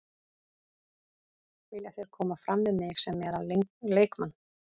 Vilja þeir koma fram við mig sem meðal leikmann.